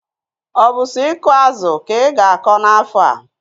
Obu so iku azu ka iga ako na aha?